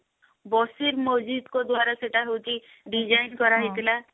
ବସିତ୍ ମଜିତ୍ ଙ୍କ ଦ୍ଵାରା ସେଇଟା ହଉଛି design କରା ହେଇଥିଲା